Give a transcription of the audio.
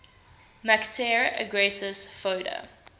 mactare aggressus foeda